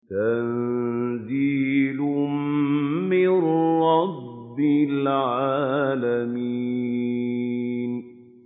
تَنزِيلٌ مِّن رَّبِّ الْعَالَمِينَ